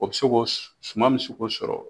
O bɛ se ko suma bi ko sɔrɔ.